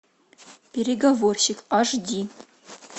переговорщик аш ди